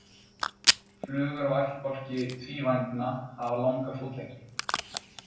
Flugur af ættbálki tvívængna hafa langa fótleggi.